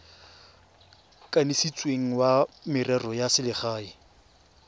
kanisitsweng wa merero ya selegae